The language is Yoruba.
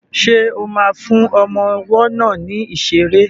Ṣo ma fún ọmọ ọwọ́ náà ní ìṣeré?